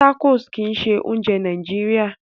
Tacos kìí ṣe oúnjẹ Nàìjíría